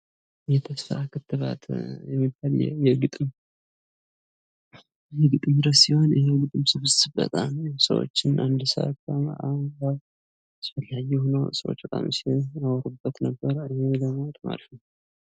የተስፋ ክትባት የሚባል የግጥም ርዕሰ ሲሆን ይህ የግጥሞ ስብስብ ሰዎች በጣም አስፈላጊ የሆኑ ሰዎች ሲያወሩበት ነበር ይህም ማለት በጣም አሪፍ ነው ።